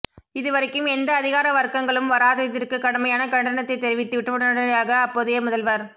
இதுவரைக்கும் எந்த அதிகார வர்க்கங்களும் வராததிற்கு கடுமையான கண்டனத்தை தெரிவித்துவிட்டு உடனடியாக அப்போதைய முதல்வர்